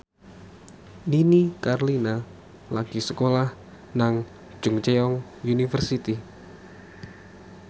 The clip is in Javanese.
Nini Carlina lagi sekolah nang Chungceong University